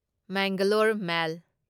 Mangalore ꯃꯦꯜ